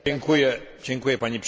Pani przewodnicząca!